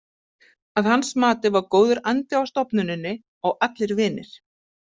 Að hans mati var góður andi á stofnuninni og allir vinir.